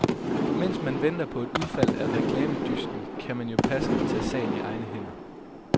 Mens man venter på et udfald af reklamedysten, kan man jo passende tage sagen i egne hænder.